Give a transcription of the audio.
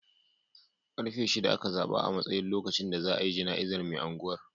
Karfe shida aka zaɓa a matsayin lokacin da za a yi jana'izar mai angwar.